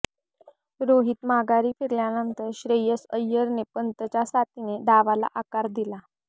रोहित माघारी फिरल्यानंतर श्रेयस अय्यरने पंतच्या साथीने डावाला आकार दिला